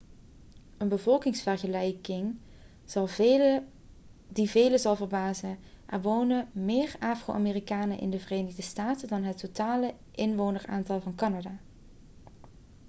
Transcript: een bevolkingsvergelijking die velen zal verbazen er wonen meer afro-amerikanen in de verenigde staten dan het totale inwoneraantal van canada